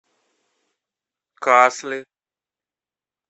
касли